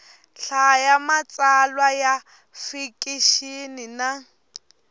hlaya matsalwa ya fikixini na